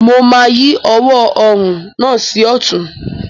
Mo máa yí ọwọ́ orùn náà sí ọ̀tún.